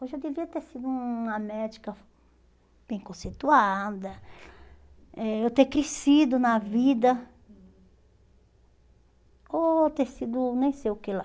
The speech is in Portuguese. Hoje eu devia ter sido uma médica bem conceituada, eh eu ter crescido na vida, ou ter sido nem sei o que lá.